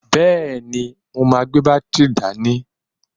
Bẹ́ẹ̀ni, mo máa gbé bátìrì dání.